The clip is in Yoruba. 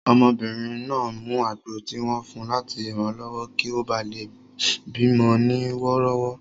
Obìnrin náà mu àgbo tí wọ́n fun láti ranlọwọ kí ó bá lè bí mọ ní wọ́rọ́wọ́